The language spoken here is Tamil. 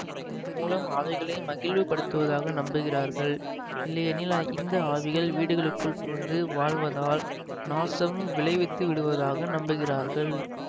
இதன் மூலம் ஆவிகளை மகிழ்வுபடுத்துவதாக நம்புகிறார்கள் இல்லையெனில் இந்த ஆவிகள் வீடுகளுக்குள் புகுந்து வாழ்வதால் நாசம் விளைவித்துவிடுவதாக நம்புகிறார்கள்